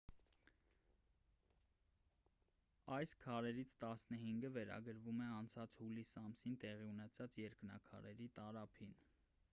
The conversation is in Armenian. այս քարերից տասնհինգը վերագրվում են անցած հուլիս ամսին տեղի ունեցած երկնաքարերի տարափին